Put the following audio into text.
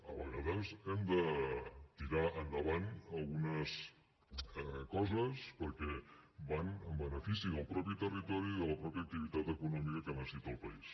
a vegades hem de tirar endavant algunes coses perquè van en benefici del mateix territori i de la mateixa activitat econòmica que necessita el país